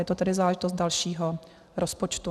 Je to tedy záležitost dalšího rozpočtu.